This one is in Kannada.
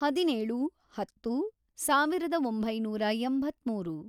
ಹದಿನೇಳು, ಹತ್ತು, ಸಾವಿರದ ಒಂಬೈನೂರು ಎಂಬತ್ಮೂರು